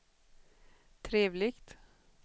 trevligt